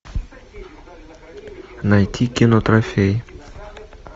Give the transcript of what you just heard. найти кино трофей